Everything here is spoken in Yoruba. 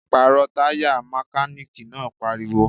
Pàrọ̀ Taya! Mekaniki náà pariwo